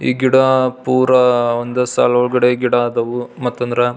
ಈ ಗಿಡ ಪುರ ಒಂದಸಲ್ ಒಳಗಡೆ ಗಿಡ ಆದವು ಮತ ಅಂದ್ರ --